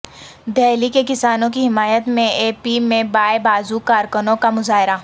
دہلی کے کسانوں کی حمایت میں اے پی میں بائیں بازو کارکنوں کا مظاہرہ